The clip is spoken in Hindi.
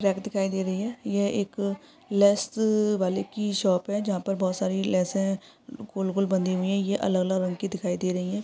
दिखाई दे रही है ये एक लेस वाले की शॉप है जहा पर बोहोत सारी लेस है गोल गोल बंधी हुई है ये अलग अलग रंग की दिखाई दे रही है।